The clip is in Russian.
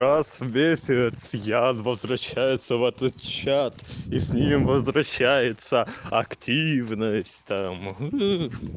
раз в месяц ян возвращается в этот чат и с ним возвращается активность там